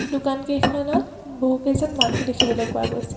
দোকান কেইখনত বহুকেইজন মানুহ দেখিবলৈ পোৱা গৈছে।